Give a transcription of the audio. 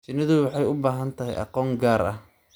Shinnidu waxay u baahan tahay aqoon gaar ah.